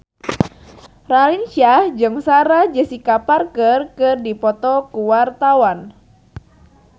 Raline Shah jeung Sarah Jessica Parker keur dipoto ku wartawan